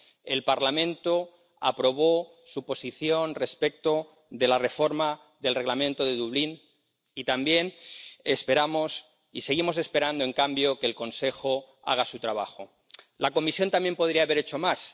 El Parlamento aprobó su posición respecto de la reforma del Reglamento de Dublín, y también esperamos y seguimos esperando, en cambio, que el Consejo haga su trabajo. La Comisión también podría haber hecho más.